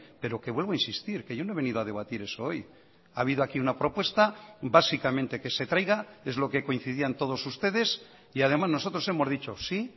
pero que vuelvo a insistir que yo no he venido a debatir eso hoy ha habido aquí una propuesta básicamente que se traiga es lo que coincidían todos ustedes y además nosotros hemos dicho sí